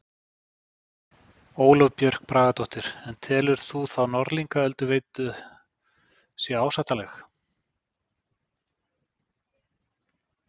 Ólöf Björk Bragadóttir: En telur þú þá Norðlingaölduveita sé ásættanleg?